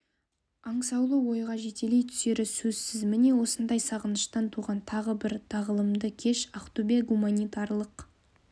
аңсаулы ойға жетелей түсері сөзсіз міне осындай сағыныштан туған тағы бір тағылымды кеш ақтөбе гуманитарлық